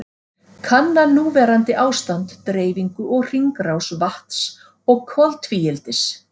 Kanna núverandi ástand, dreifingu og hringrás vatns og koltvíildis.